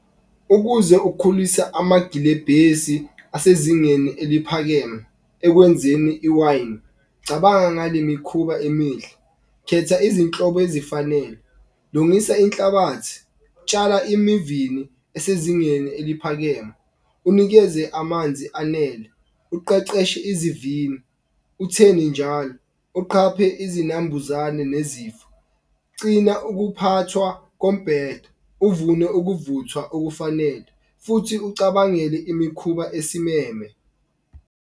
Ukuze ukhulisa amagilebhesi asezingeni eliphakeme ekwenzeni i-wine cabanga ngale mikhuba emihle. Khetha izinhlobo ezifanele, lungisa inhlabathi, tshala emivini esezingeni eliphakeme, unikeze amanzi anele, uqeqeshe izivini. Utheni njalo uqhaphe izinambuzane nezifo. Cina ukuphathwa kombhedo, uvune ukuvuthwa okufanele futhi ucabangele imikhuba esimeme.